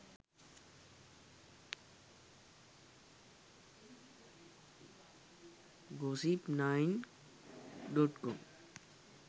gossip9.com